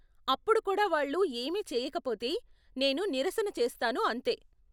అప్పుడు కూడా వాళ్ళు ఏమీ చేయకపోతే, నేను నిరసన చేస్తాను అంతే.